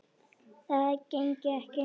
Það gengi ekki